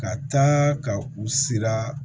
Ka taa ka u siran